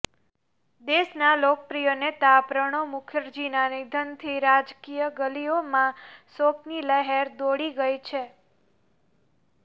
દેશના લોકપ્રિય નેતા પ્રણવ મુખર્જીના નિધનથી રાજકીય ગલીઓમાં શોકની લહેર દોડી ગઈ છે